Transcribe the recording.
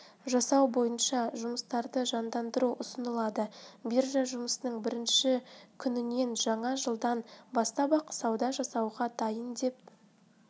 жасау бойынша жұмыстарды жандандыру ұсынылады биржа жұмысының бірінші күніненжаңа жылдан бастап-ақ сауда жасауға дайын деп